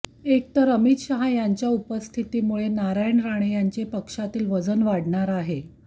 एक तर अमित शाह यांच्या उपस्थितीमुळे नारायण राणे यांचे पक्षातील वजन वाढणार आहे